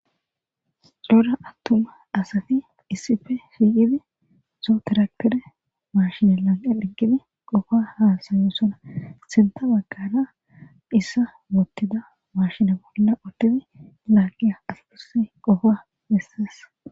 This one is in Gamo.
Dora attuma asati issife fiiqidi sotiraktere mashinelan eeqgidi qofa haasayu sona sinta baggara issa mottida mashina bolla uttidi laaqiya aspusse qofa hessas